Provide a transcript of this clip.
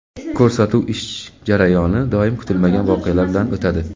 Ko‘rsatuv ish jarayoni doim kutilmagan voqealar bilan o‘tadi.